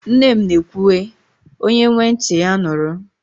Nne m na ekwu e "onye nwe ntị, ya nụrụ"